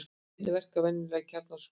Hvernig verka venjulegar kjarnorkusprengjur?